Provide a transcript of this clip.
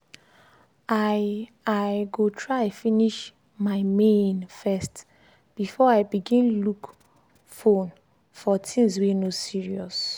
i i go try finish my main first before i begin look fone for things weey no serious.